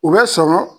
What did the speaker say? U bɛ sɔrɔ